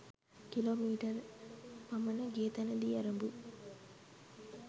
kilo metre ක් පමණ ගිය තැනදී ඇරඹු